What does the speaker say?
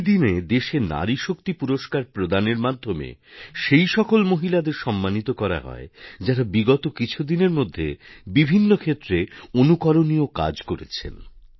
ঐ দিনে দেশে নারীশক্তি পুরষ্কার প্রদানের মাধ্যমে সেই সকল মহিলাদের সম্মানিত করা হয় যাঁরা বিগত কিছু দিনের মধ্যে বিভিন্ন ক্ষেত্রে অনুকরণীয় কাজ করেছেন